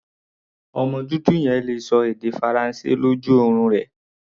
Ọmọ dúdú yẹn le ṣọ èdè Faransé lójú orun rẹ̀.